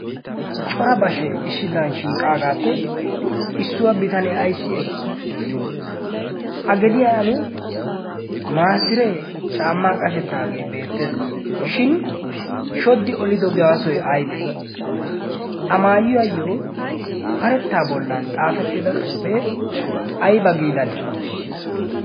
cora bashee isshidiran shiiqaagaappe issuwaa bitanee aissi ekkii? a gediyan maasiree caammaa qashettaagee beettees shin shodi olidogiyaasoi aibee? a maayiywaayyo karettaa bollan xaafettida xuufee aiba giidanee?